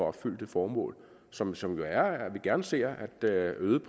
opfylde det formål som som jo er at vi gerne ser et øget